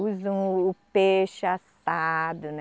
Usam o peixe assado, né.